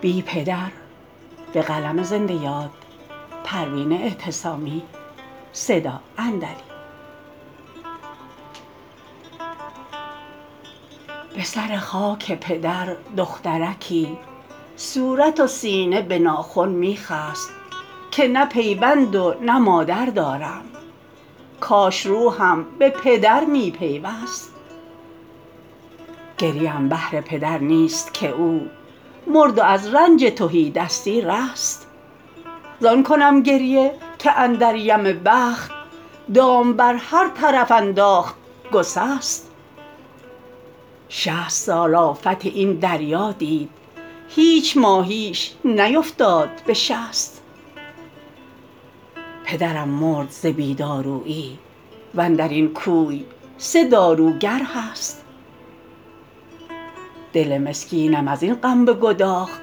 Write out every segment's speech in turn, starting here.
به سر خاک پدر دخترکی صورت و سینه به ناخن می خست که نه پیوند و نه مادر دارم کاش روحم به پدر می پیوست گریه ام بهر پدر نیست که او مرد و از رنج تهی دستی رست زان کنم گریه که اندر یم بخت دام بر هر طرف انداخت گسست شصت سال آفت این دریا دید هیچ ماهیش نیفتاد به شست پدرم مرد ز بی دارویی وندرین کوی سه داروگر هست دل مسکینم از این غم بگداخت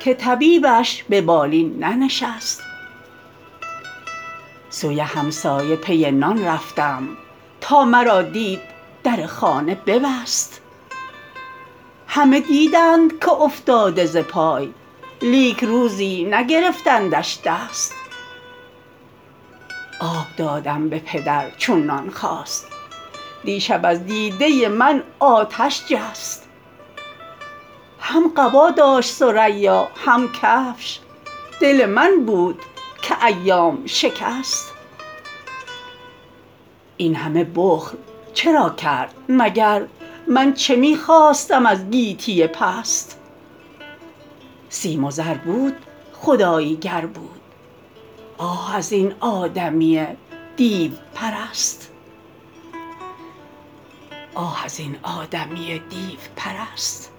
که طبیبیش ببالین ننشست سوی همسایه پی نان رفتم تا مرا دید در خانه ببست همه دیدند که افتاده ز پای لیک روزی نگرفتندش دست آب دادم به پدر چون نان خواست دیشب از دیده من آتش جست هم قبا داشت ثریا هم کفش دل من بود که ایام شکست این همه بخل چرا کرد مگر من چه می خواستم از گیتی پست سیم و زر بود خدایی گر بود آه از این آدمی دیوپرست